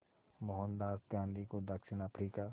मोहनदास गांधी को दक्षिण अफ्रीका